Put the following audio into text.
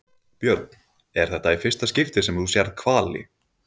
Björn: Er þetta í fyrsta skipti sem þú sérð hvali?